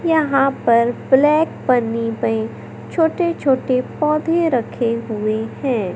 यहाँ पर ब्लैक पन्नी पे छोटे-छोटे पौधे रखे हुए हैं।